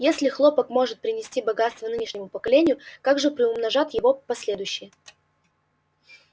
если хлопок может принести богатство нынешнему поколению как же приумножат его последующие